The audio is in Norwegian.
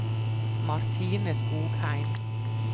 Martine Skogheim